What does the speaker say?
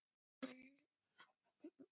Var hann án átaka.